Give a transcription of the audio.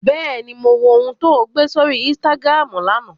Bẹ́ẹ̀ni, mo wo ohun tó gbé sórí Instagram lánàá